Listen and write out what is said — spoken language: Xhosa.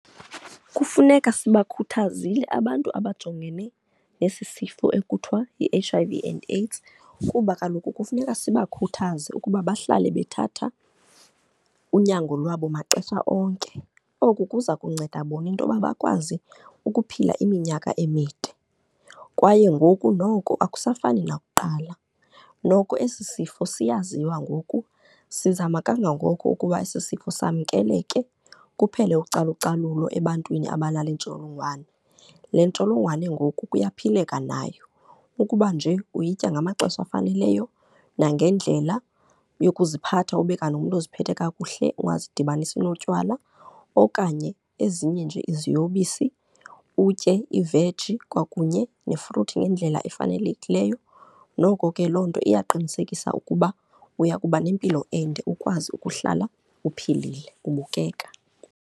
Kufuneka singakhuthazile abantu abajongene nesi sifo ekuthiwa yi-H_ I_V and AIDS kuba kaloku kufuneka sibakhuthaze ukuba bahlale bethatha unyango lwabo maxesha onke. Oku kuza kunceda bona intoba bakwazi ukuphila iminyaka emide kwaye ngoku noko akusafani nakuqala. Noko esi sifo siyaziwa ngoku, sizama kangangoko ukuba esi sifo samkeleke, kuphele ucalucalulo ebantwini abanale intsholongwane. Le ntsholongwane ngoku kuyaphileka nayo, ukuba nje uyitya ngamaxesha afaneleyo nangendlela yokuziphatha, ube kanti umntu oziphethe kakuhle, ungazidibanisi notywala okanye ezinye nje iziyobisi. Utye iveji kwakunye nefruthi ngendlela efanelekileyo, noko ke loo nto iya qinisekisa ukuba uya kuba nempilo ende ukwazi ukuhlala uphilile, ubukeka.